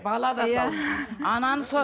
бала да ананы